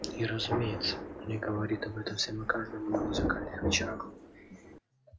и разумеется не говорит об этом всем и каждому на музыкальных вечерах